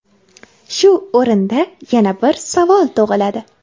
Shu o‘rinda yana bir savol tug‘iladi.